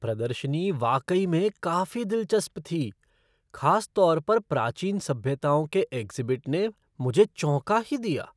प्रदर्शनी वाकई में काफी दिलचस्प थी, खासतौर पर प्राचीन सभ्यताओं के एग्ज़िबिट ने मुझे चौंका ही दिया।